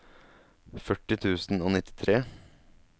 førti tusen og nittitre